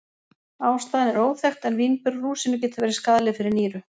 Ástæðan er óþekkt en vínber og rúsínur geta verið skaðleg fyrir nýru.